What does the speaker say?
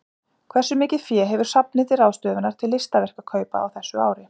Hversu mikið fé hefur safnið til ráðstöfunar til listaverkakaupa á þessu ári?